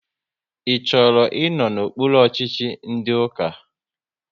Ị chọrọ ịnọ n'okpuru ọchịchị ndị ụka?